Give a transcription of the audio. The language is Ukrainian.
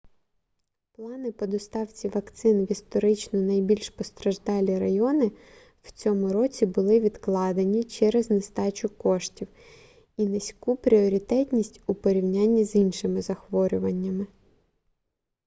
плани по доставці вакцин в історично найбільш постраждалі райони в цьому році були відкладені через нестачу коштів і низьку пріоритетність у порівнянні з іншими захворюваннями